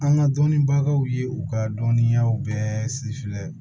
An ka dɔnnibagaw ye u ka dɔnniyaw bɛɛ